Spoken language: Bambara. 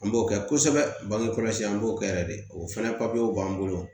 An b'o kɛ kosɛbɛ bangekɔlɔsi an b'o kɛ yɛrɛ de o fɛnɛ papiyew b'an bolo